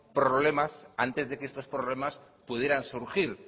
problema antes de que estos problemas pudieran surgir